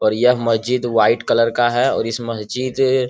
और यह मस्जिद व्हाइट कलर का है और इस मस्जिद --